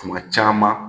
Kuma caman